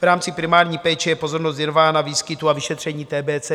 V rámci primární péče je pozornost věnována výskytu a vyšetření TBC.